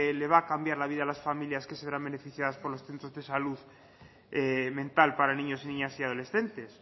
le va a cambiar la vida a las familias que saldrán beneficiadas por los centros de salud mental para niños niñas y adolescentes